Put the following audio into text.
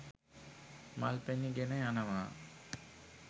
මල් පැණි ගෙන යනවා.